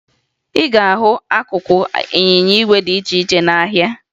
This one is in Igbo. ị ga-ahụ akụkụ ịnyịnya igwe dị iche ihe n'ahịa